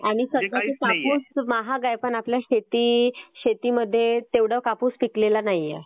आणि सध्या कापूस महाग आहे पण आपल्या शेतीमध्ये तेवढा कापूस पिकलेला नाहीए.